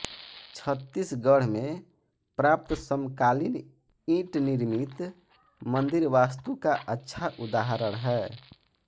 छत्तीसगढ़ में प्राप्त समकालीन ईंटनिर्मित मंदिरवास्तु का अच्छा उदाहरण है